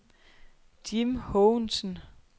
Jim Haagensen